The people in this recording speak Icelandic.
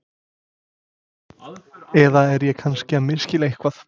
Eða er ég kannski að misskilja eitthvað?